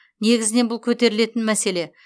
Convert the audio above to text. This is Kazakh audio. негізінен бұл көтерілетін мәселе